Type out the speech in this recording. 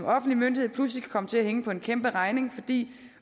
offentlig myndighed pludselig kan komme til at hænge på en kæmperegning fordi